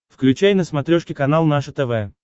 включай на смотрешке канал наше тв